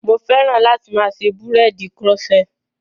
Mo fẹ́ran láti máa ṣe búréèdì koroṣé.